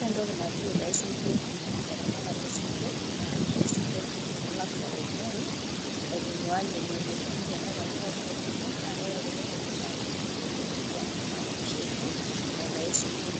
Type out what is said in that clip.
ore entoki aitayu sinkir teramatere oo sinkir. naa labda aitayu isinkir oomuoi, aitung'uaa ile memuoi, amu tenetoni pookin tenbeo, naa ore kulo loomuoi naa keshurtaki kulie emoyian, neeku ina oshi eji aitayu sinkir,